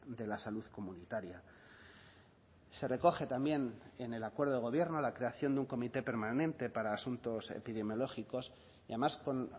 de la salud comunitaria se recoge también en el acuerdo de gobierno la creación de un comité permanente para asuntos epidemiológicos y además con